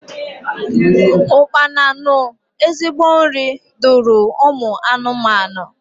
Ụkpana nu ezigbo nri duru ụmụ anụmanụ.